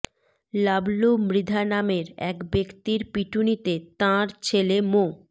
লাবলু মৃধা নামের এক ব্যক্তির পিটুনিতে তাঁর ছেলে মো